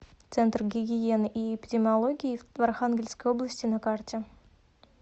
центр гигиены и эпидемиологии в архангельской области на карте